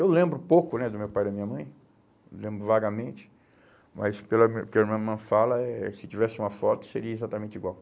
Eu lembro pouco né do meu pai e da minha mãe, lembro vagamente, mas pela pelo que a minha irmã fala, eh se tivesse uma foto, seria exatamente igual.